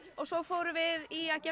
og svo fórum við í að gera